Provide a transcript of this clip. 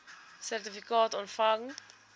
sertifikaat ontvang